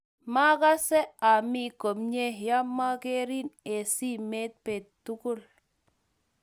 Magase ami komnye yemogerin eng' simet bet tugul.